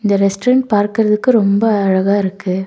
இந்த ரெஸ்டாரன்ட் பார்க்குறதுக்கு ரொம்ப அழகா இருக்கு.